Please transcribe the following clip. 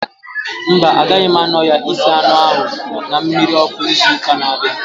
Mba, agaghị m anọ ya isi anụ ahu na mmiri ọkụ ịzụ ụka na abianu